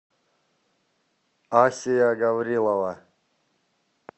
асия гаврилова